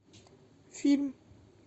фильм